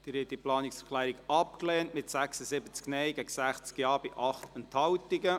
Sie haben diese Planungserklärung abgelehnt, mit 83 Nein- gegen 44 Ja-Stimmen bei 18 Enthaltungen.